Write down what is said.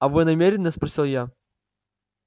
а вы намерены спросил я